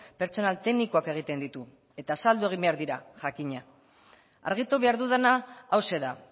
pertsonal teknikoak egiten ditu eta azaldu egin behar dira jakina argitu behar dudana hauxe da